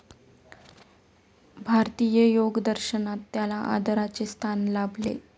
भारतीय योगदर्शनात त्याला आदराचे स्थान लाभले.